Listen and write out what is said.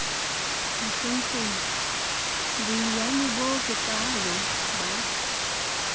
mohlomphehi boiyane bo bokaalo ba